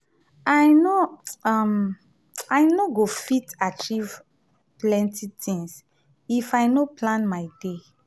i no um go fit achieve um plenty tins if i no plan my day.